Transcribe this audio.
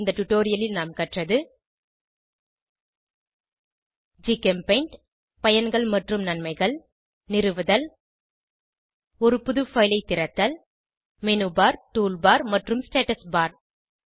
இந்த டுடோரியலில் நாம் கற்றது ஜிகெம்பெய்ண்ட் பயன்கள் மற்றும் நன்மைகள் நிறுவுதல் ஒரு புது பைல் ஐ திறத்தல் மெனுபர் டூல்பார் மற்றும் ஸ்டேட்டஸ் பார்